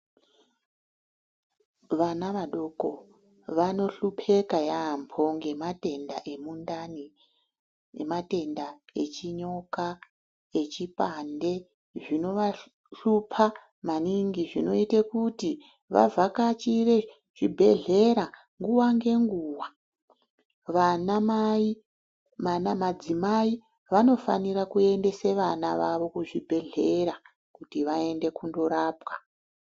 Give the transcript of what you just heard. Vana vadoko vanohlupeka yaambo ngematenda emundani ngematenda echinyoka, echipande, zvinovahlupa maningi, zvinoite kuti vavhakachire zvibhedhlera nguwa ngenguwa. Vanamai, madzimai vanofanire kuendesa vana vavo kuzvibhedhlera, kuti vaende kundorapwa.